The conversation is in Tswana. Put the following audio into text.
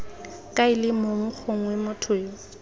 kaele mong gongwe motho yo